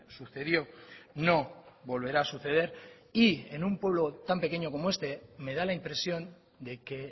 sucedió no volverá a suceder y en un pueblo tan pequeño como este me da la impresión de que